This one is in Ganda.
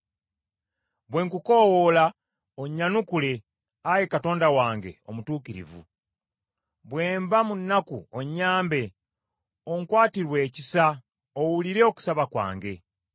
Bwe nkukoowoola onnyanukule, Ayi Katonda wange omutuukirivu. Bwe mba mu nnaku, onnyambe. Onkwatirwe ekisa owulire okusaba kwange.